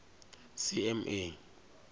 cma